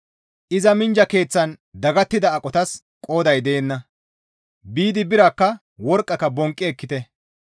Iza minjja keeththan dagattida aqotas qooday deenna; biidi biraakka, worqqaaka bonqqi ekkite.